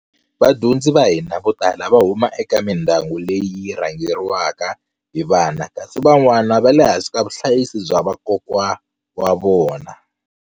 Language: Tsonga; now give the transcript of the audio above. Vadyondzi va hina vo tala va huma eka mindyangu leyi yi rhangeri waka hi vana kasi van'wana va le hansi ka vuhlayisi bya vakokwa wa vona.